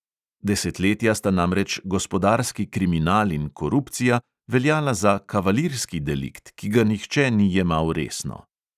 Desetletja sta namreč gospodarski kriminal in korupcija veljala za kavalirski delikt, ki ga nihče ni jemal resno.